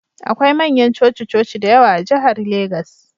Akwai manyan coci-coci da yawa a jihar Legas